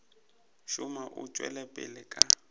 šoma o tšwela pele ka